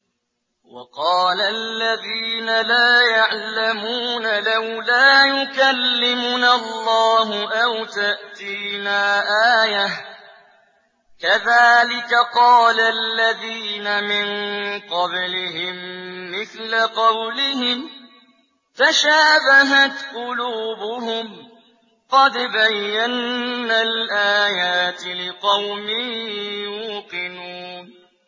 وَقَالَ الَّذِينَ لَا يَعْلَمُونَ لَوْلَا يُكَلِّمُنَا اللَّهُ أَوْ تَأْتِينَا آيَةٌ ۗ كَذَٰلِكَ قَالَ الَّذِينَ مِن قَبْلِهِم مِّثْلَ قَوْلِهِمْ ۘ تَشَابَهَتْ قُلُوبُهُمْ ۗ قَدْ بَيَّنَّا الْآيَاتِ لِقَوْمٍ يُوقِنُونَ